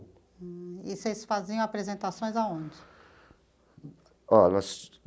E vocês faziam apresentações aonde? Ó nós.